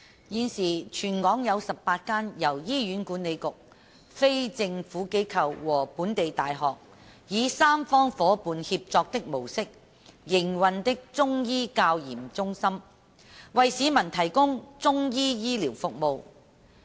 現時全港有18間由醫院管理局、非政府機構和本地大學，以三方伙伴協作的模式營運的中醫教研中心，為市民提供中醫醫療服務。